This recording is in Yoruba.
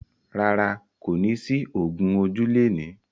Rárá, kò ní sí ògún ojú lẹni.